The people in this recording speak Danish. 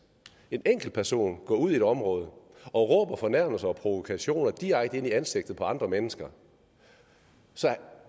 en enkelt person går ud i et område og råber fornærmelser og provokationer direkte ind i ansigtet på andre mennesker